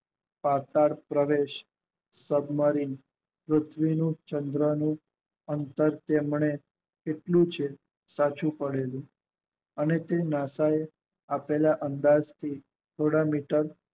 તતડ પ્રવેશ સબમરીન પૃથ્વીનું ચંદ્રનું અંતર તેમને તેટલું છે કાચું પડેલું અને તે નાસાઓ આપેલા અંદાજ થી થોડા મીટર